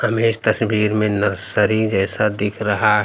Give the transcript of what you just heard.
हमें इस तस्वीर में नर्सरी जैसा दिख रहा--